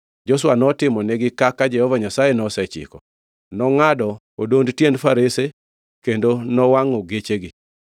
Joshua notimonigi kaka Jehova Nyasaye nosechiko. Nongʼado odond tiend farese kendo nowangʼo gechegi.